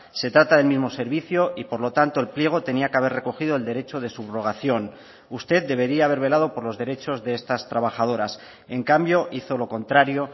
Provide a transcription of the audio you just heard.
se trata del mismo servicio y por lo tanto el pliego tenía que haber recogido el derecho de subrogación usted debería haber velado por los derechos de estas trabajadoras en cambio hizo lo contrario